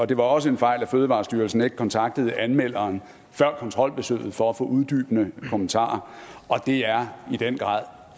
det var også en fejl at fødevarestyrelsen ikke kontaktede anmelderen før kontrolbesøget for at få uddybende kommentarer og det er i den grad